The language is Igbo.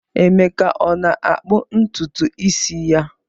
Emeka ọ na-akpụ ntutu isi ya?